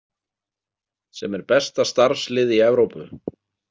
Sem er besta starfslið í Evrópu.